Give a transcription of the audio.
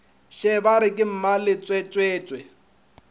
še ba re ke mmaletswetswe